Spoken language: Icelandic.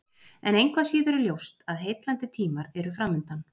En engu að síður er ljóst að heillandi tímar eru framundan.